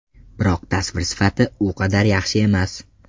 Biroq tasvir sifati u qadar yaxshi emas.